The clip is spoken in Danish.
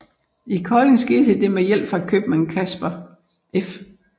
I Kolding skete det med hjælp fra købmand Caspar F